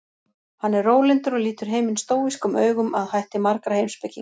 Hann er rólyndur og lítur heiminn stóískum augum að hætti margra heimspekinga.